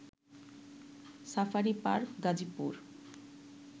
safari park Gazipur